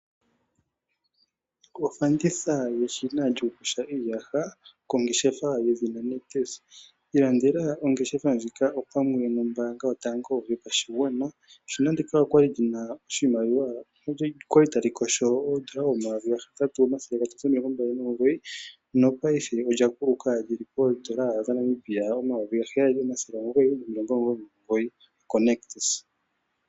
Ofanditha yeshina lyokuyonga iiyaha kongeshefa yedhina nictus, ilandela ongeshefa ndjika opamwe nombanga yotango yopashingwana eshina ndika okwali lyina oshimaliwa , okwali talikosho oondola 8,329 no payife olya kuluka lyili poondola dhaNamibia 7,999 ko nictus.